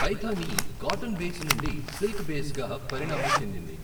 Paithani cotton base నుండి silk బేస్గా పరిణామం చెందింది.